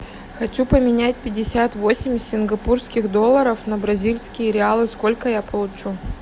хочу поменять пятьдесят восемь сингапурских долларов на бразильские реалы сколько я получу